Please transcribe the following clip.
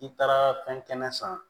I taara fɛn kɛnɛ san